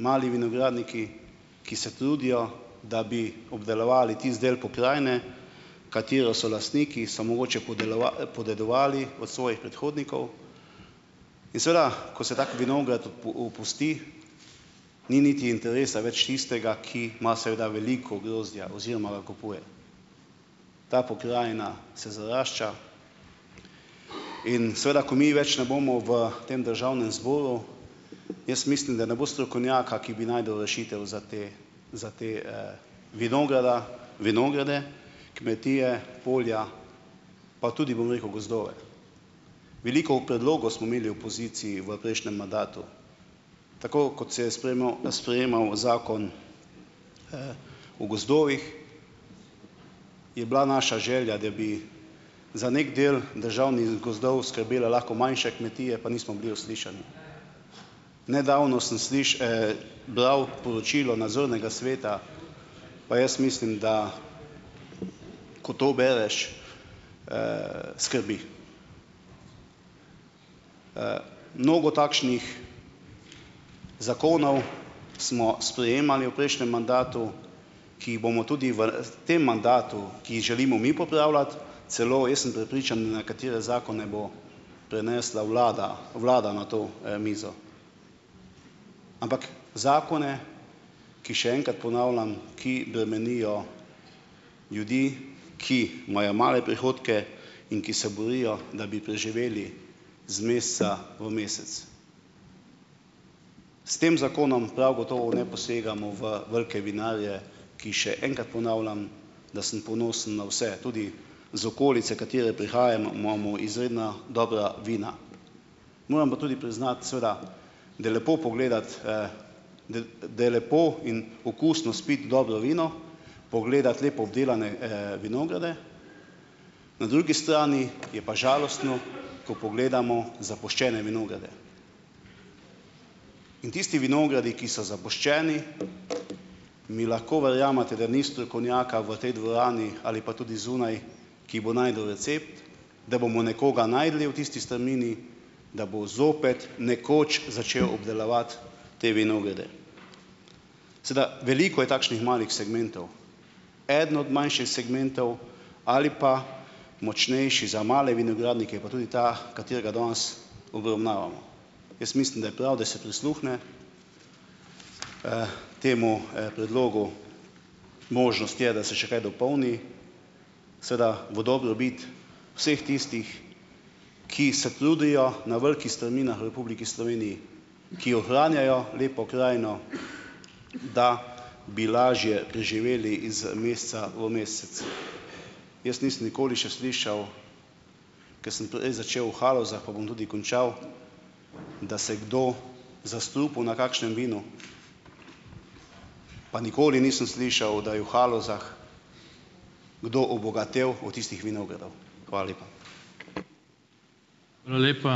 Mali vinogradniki, ki se trudijo, da bi obdelovali tisti del pokrajine, katere so lastniki, so mogoče podedovali od svojih predhodnikov. In seveda, ko se tako vinograd opusti, ni niti interesa več tistega, ki ima seveda veliko grozdja oziroma ga kupuje. Ta pokrajina se zarašča. In seveda ko mi več ne bomo v tem državnem zboru, jaz mislim, da ne bo strokovnjaka, ki bi našel rešitev za te, za te, vinograda, vinograde kmetije, polja pa tudi, bom rekel, gozdove. Veliko predlogov smo imeli v opoziciji v prejšnjem mandatu, tako kot se je sprejemal, sprejemal zakon o gozdovih, je bila naša želja, da bi za neki del državnih gozdov skrbele lahko manjše kmetije, pa nismo bili uslišani. Nedavno sem bral poročilo nadzornega sveta, pa jaz mislim, da ko to bereš skrbi. Mnogo takšnih zakonov smo sprejemali v prejšnjem mandatu, ki jih bomo tudi v tem mandatu, ki jih želimo mi popravljati. Celo, ja, sem prepričan, da nekatere zakone bo prenesla vlada, vlada na to, mizo. Ampak zakone, ki, še enkrat ponavljam, ki bremenijo ljudi, ki imajo male prihodke in ki se borijo, da bi preživeli z meseca v mesec. S tem zakonom prav gotovo ne posegamo v velike vinarje, ki, še enkrat ponavljam, da sem ponosen na vse, tudi z okolice, katere prihajam, imamo izredna dobra vina. Moram pa tudi priznati, seveda da je lepo pogledati, da da je lepo in okusno spiti dobro vino, pogledati lepo obdelane, vinograde, na drugi strani je pa žalostno, ko pogledamo zapuščene vinograde. In tisti vinogradi, ki so zapuščeni, mi lahko verjamete, da ni strokovnjaka v tej dvorani ali pa tudi zunaj, ki bo našel recept, da bomo nekoga našli v tisti strmini, da bo zopet nekoč začel obdelovati te vinograde. Sedaj veliko je takšnih malih segmentov. Eden od manjših segmentov ali pa močnejši za male vinogradnike je pa tudi ta, katerega danes obravnavamo. Jaz mislim, da je prav, da se prisluhne temu, predlogu. Možnost je, da se še kaj dopolni, seveda, v dobrobit vseh tistih, ki se trudijo na veliki strminah v Republiki Sloveniji, ki ohranjajo lepo krajino, da bi lažje preživeli iz meseca v mesec. Jaz nisem nikoli še slišal, ker sem prej začel v Halozah, pa bom tudi končal, da se je kdo zastrupil na kakšnem vinu, pa nikoli nisem slišal, da je v Halozah kdo obogatel od tistih vinogradov. Hvala lepa.